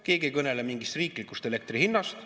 Keegi ei kõnele mingist riiklikust elektri hinnast.